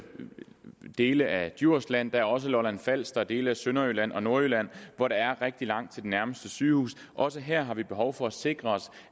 dele af djursland der er også lolland falster og dele af sønderjylland og nordjylland hvor der er rigtig langt til det nærmeste sygehus og også her har vi behov for at sikre